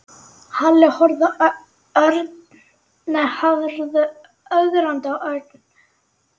Halli horfði ögrandi á Örn.